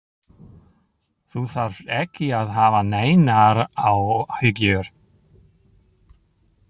Þú þarft ekki að hafa neinar áhyggjur.